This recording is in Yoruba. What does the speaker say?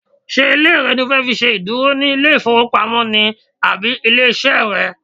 Ṣé ilé rẹ ni o fẹ́ fi ṣe ìdúró ní ilé ìfowópamọ́ ni àbí ilé iṣẹ́ rẹ?